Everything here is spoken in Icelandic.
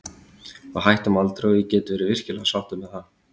Við hættum aldrei og ég get verið virkilega sáttur með það.